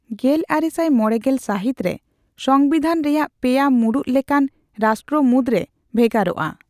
ᱜᱮᱞᱟᱨᱮᱥᱟᱭ ᱢᱚᱲᱮᱜᱮᱞ ᱥᱟᱦᱤᱛ ᱨᱮ ᱥᱚᱸᱵᱤᱫᱷᱟᱱ ᱨᱮᱭᱟᱜ ᱯᱮᱭᱟ ᱢᱩᱬᱩᱛ ᱞᱮᱠᱟᱱ ᱨᱮᱥᱴᱨᱚ ᱢᱩᱫᱽ ᱨᱮ ᱵᱷᱮᱜᱟᱨᱚᱜ ᱟᱼ᱾